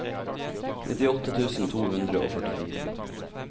nittiåtte tusen to hundre og førtifire